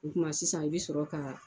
O kuma sisan i bɛ sɔrɔ ka